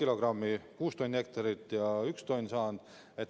kilogrammi, st ühe tonni.